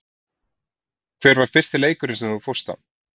Hver var fyrsti leikurinn sem þú fórst á?